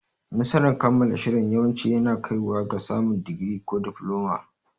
Nasarar kammala shirin yawanci yana kaiwa ga samun digiri ko difloma.